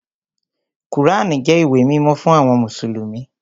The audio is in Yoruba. Kùránì jẹ́ ìwé mímọ́ fún àwọn mùsùlùmí